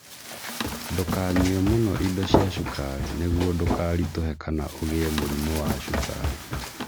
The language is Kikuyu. Ndûkanyue mûno indo cia cukari nĩguo ndũkarituhe kana ugĩe mũrimũ wa cukari